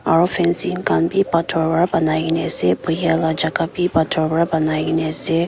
aru fancing khan bhi pathor para banai ke na ase bohe lah jaga bhi pathor para banai ke ne ase.